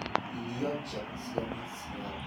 Irio njega cia maciiaro